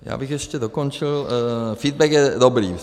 Já bych ještě dokončil - feedback je dobrý.